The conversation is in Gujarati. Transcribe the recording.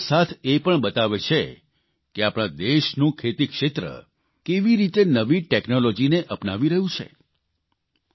પરંતુ સાથોસાથ એ પણ બતાવે છે કે આપણા દેશનું ખેતીક્ષેત્ર કેવી રેતી નવી ટેકનોલોજીને અપનાવી રહ્યું છે